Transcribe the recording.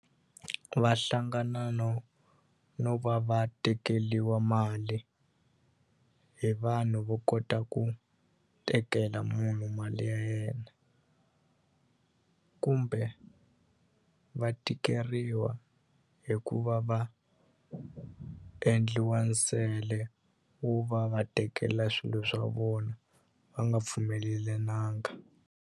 Va hlangana no no va va tekeliwa mali hi vanhu vo kota ku tekela munhu mali ya yena kumbe va tikeriwa hi ku va va endliwa nsele wo va va tekela swilo swa vona va nga pfumelelananga.